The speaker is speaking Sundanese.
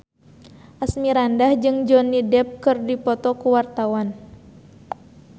Asmirandah jeung Johnny Depp keur dipoto ku wartawan